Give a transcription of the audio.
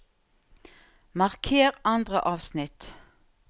Marker andre avsnitt